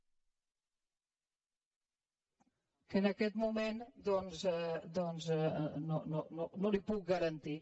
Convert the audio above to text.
que en aquest moment doncs no li ho puc garantir